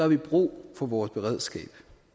vi brug for vores beredskab